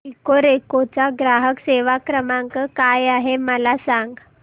Ecoreco चा ग्राहक सेवा क्रमांक काय आहे मला सांग